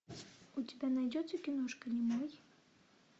у тебя найдется киношка немой